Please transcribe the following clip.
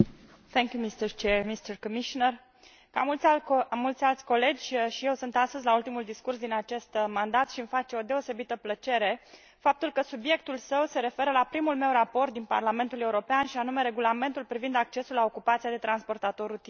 Domnule Președinte, domnule Comisar, ca mulți alți colegi, și eu sunt astăzi la ultimul discurs din acest mandat și îmi face o deosebită plăcere faptul că subiectul său se referă la primul meu raport din Parlamentul European, și anume Regulamentul privind accesul la ocupația de transportator rutier.